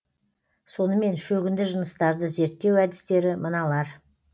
сонымен шөгінді жыныстарды зерттеу әдістері мыналар